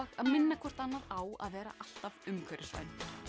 minna hvert annað á að vera alltaf umhverfisvæn